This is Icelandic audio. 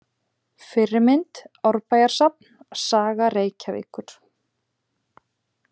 Fyrri mynd: Árbæjarsafn: Saga Reykjavíkur.